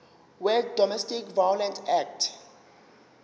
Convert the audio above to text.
wedomestic violence act